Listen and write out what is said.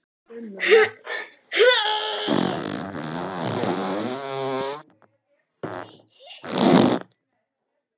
Þeir höfðu meira að segja tekið Kristínu Evu!